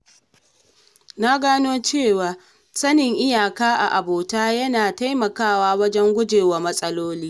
Na gano cewa sanin iyaka a abota yana taimakawa wajen guje wa matsaloli.